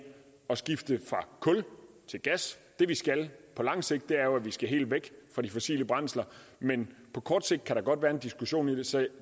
skifte fra kul til gas det vi skal på lang sigt er jo at vi skal helt væk fra de fossile brændsler men på kort sigt kan der godt være en diskussion af det så